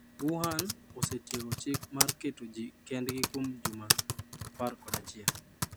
Wuhan osetieko chik mar keto ji kendgi kuom juma 11.